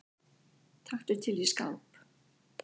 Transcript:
Taktu til í skáp.